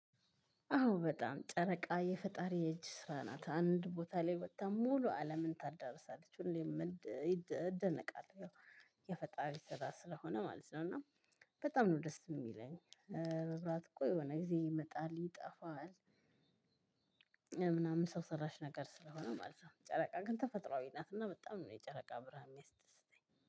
አዎ በጣም ጨረቃ የፈጣሪ እጅ ስራ ናት አንድ ቦታ ላይ ወጥታ ሙሉ አለምን ታዳርሳለች ሁሌም እደነቃለሁ የፈጣሪ ስራ ስለሆነ ማለት ነው። እና በጣም ነው ደስ የሚለኝ። እኮ የሆነ ጊዜ ይመጣል ይጠፋል። ምናምን ሰው ሰራሽ ነገር ስለሆነ ማለት ነው። ጨረቃ ግን ተፈጥሮአዊ ናት። እና በጣም ነው የጨረቃ ብርሃን የሚያስደስተኝ